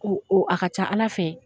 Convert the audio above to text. Ko o a ka ca Ala fɛ